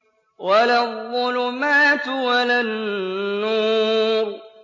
وَلَا الظُّلُمَاتُ وَلَا النُّورُ